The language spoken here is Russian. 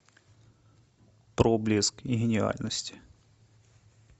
проблеск гениальности